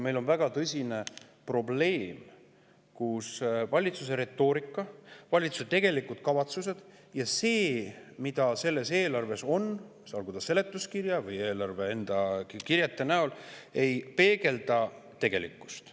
Meil on väga tõsine probleem, et valitsuse retoorika, valitsuse tegelikud kavatsused ja see, mis selles eelarves on – olgu see seletuskirjas või eelarve enda kirjetes –, ei peegelda tegelikkust.